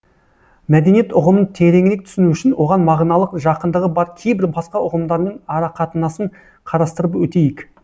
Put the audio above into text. мәдениет ұғымын тереңірек түсіну үшін оған мағыналық жақындығы бар кейбір басқа ұғымдармен арақатынасын қарастырып өтейік